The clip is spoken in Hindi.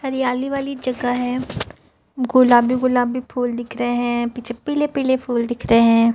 हरियाली वाली जगह हैं गुलाबी गुलाबी फूल दिख रहें हैं पीछे पीले पीले फूल दिख रहें हैं।